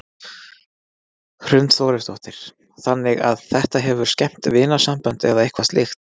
Hrund Þórsdóttir: Þannig að þetta hefur skemmt vinasambönd eða eitthvað slíkt?